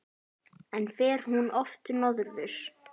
En fer hún oft norður?